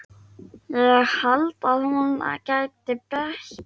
Ég held að hún geti bætt allt.